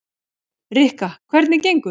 Rikka, hvernig gengur?